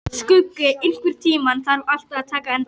Skuggi, einhvern tímann þarf allt að taka enda.